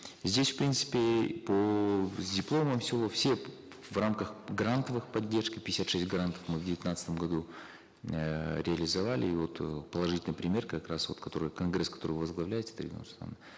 здесь в принципе по с дипломом в села все в рамках грантовых поддержек пятьдесят шесть грантов мы в девятнадцатом году эээ реализовали и вот э положительный пример как раз вот который конгресс который возглавляете дарига нурсултановна